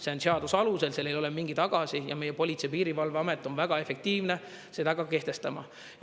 See on seaduse alusel, seal ei ole mingeid agasid, ja meie Politsei- ja Piirivalveamet on väga efektiivne seda ka kehtestama.